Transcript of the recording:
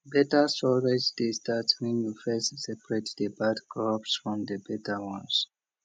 better storage dey start when you first separate the bad crops from the better ones